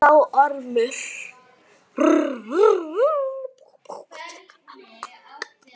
Sagði þá Ormur